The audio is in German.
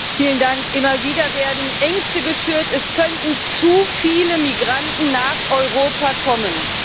Herr Präsident! Immer wieder werden Ängste geschürt, es könnten zu viele Migranten nach Europa kommen.